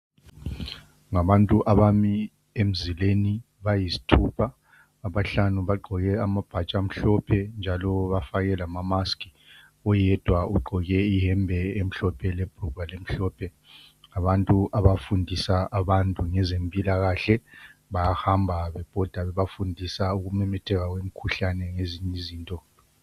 Ngabantu abami emzileni bayisithupha, abanye bahlanu bagqoke amabhatshi amhlophe njalo bafake lamamask, oyedwa ugqoke iyembe emhlophe lebhulugwa elimhlophe. Abantu abafundisa abantu ngezempilakahle bayahamba bebhoda bebafundisa ukumemetheka kwemikhuhlane lezinye izinto.